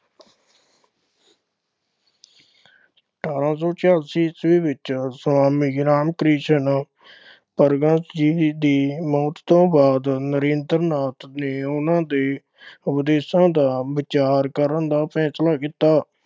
ਅਠਾਰਾਂ ਸੌ ਛਿਆਸੀ ਈਸਵੀ ਵਿੱਚ ਸੁਆਮੀ ਰਾਮ ਕ੍ਰਿਸ਼ਨ ਪਰਮਹੰਸ ਜੀ ਦੀ ਮੌਤ ਤੋਂ ਬਾਅਦ ਨਰੇਂਦਰ ਨਾਥ ਨੇ ਉਨ੍ਹਾਂ ਦੇ ਉਪਦੇਸ਼ਾਂ ਦਾ ਵਿਚਾਰ ਕਰਨ ਦਾ ਫੈਸਲਾ ਕੀਤਾ।